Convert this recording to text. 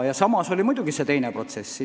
Samas käis muidugi see teine protsess.